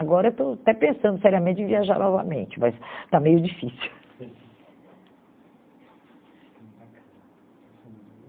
Agora, estou até pensando seriamente em viajar novamente, mas está meio difícil.